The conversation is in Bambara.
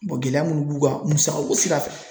gɛlɛya minnu b'u kan musaka bɛ se ka sɔrɔ